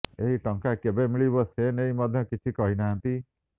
ଏହି ଟଙ୍କା କେବେ ମିଳିବ ସେନେଇ ମଧ୍ୟ କିଛି କହି ନାହାନ୍ତି